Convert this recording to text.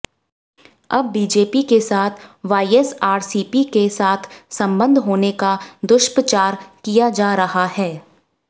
अब बीजेपी के साथ वाईएसआरसीपी के साथ संबंध होने का दुष्पचार किया जा रहा है